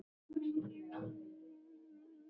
Hildigunnur, hvaða mánaðardagur er í dag?